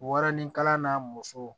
Waranikala n'a musow